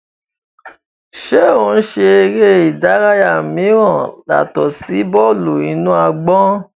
Ṣe o ń ṣe ere idaraya miiran yatọ si bọọlu-inu-agbọn?